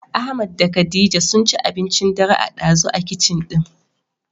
Ahmad da khadija sunci abincin dare a ɗazu a kicin ɗin.